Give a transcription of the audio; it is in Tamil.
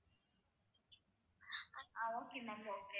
ah okay ma'am okay